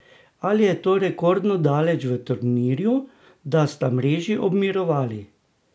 Ali je to rekordno daleč v turnirju, da sta mreži obmirovali?